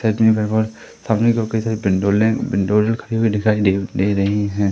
खड़ी हुई दिखाई दे दे रही हैं।